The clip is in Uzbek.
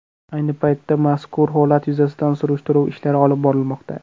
Ayni paytda mazkur holat yuzasidan surishtiruv ishlari olib borilmoqda.